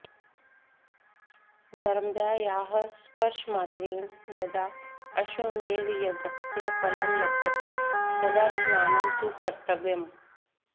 नर्मदायाः स्पर्शमात्रेण यदा अश्वमेधयज्ञस्य फलं लभ्यते तदा स्नानं तु कर्तव्यम्